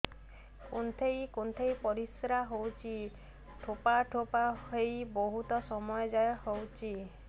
କୁନ୍ଥେଇ କୁନ୍ଥେଇ ପରିଶ୍ରା ହଉଛି ଠୋପା ଠୋପା ହେଇ ବହୁତ ସମୟ ଯାଏ ହଉଛି